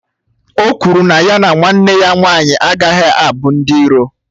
O kwụrụ na ya na nwanne ya nwanyị agaghị abụ ndị iro